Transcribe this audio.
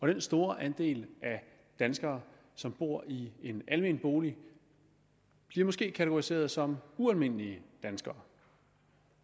den store andel af danskere som bor i en almen bolig bliver måske kategoriseret som ualmindelige danskere